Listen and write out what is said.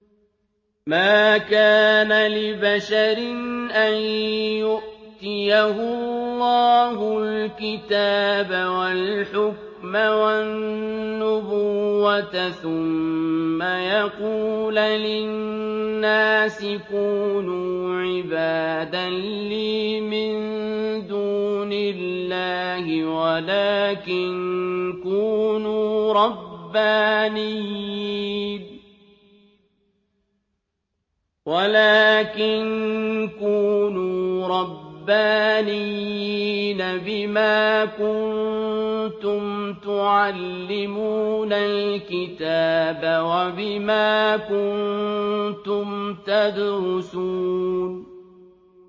مَا كَانَ لِبَشَرٍ أَن يُؤْتِيَهُ اللَّهُ الْكِتَابَ وَالْحُكْمَ وَالنُّبُوَّةَ ثُمَّ يَقُولَ لِلنَّاسِ كُونُوا عِبَادًا لِّي مِن دُونِ اللَّهِ وَلَٰكِن كُونُوا رَبَّانِيِّينَ بِمَا كُنتُمْ تُعَلِّمُونَ الْكِتَابَ وَبِمَا كُنتُمْ تَدْرُسُونَ